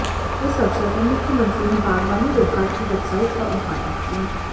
इस अवसर पर मुख्यमंत्री ने बागवानी विभाग की वेबसाइट का उद्घाटन किया